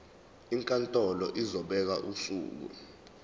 inkantolo izobeka usuku